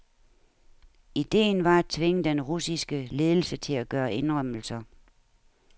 Ideen var at tvinge den russiske ledelse til at gøre indrømmelser.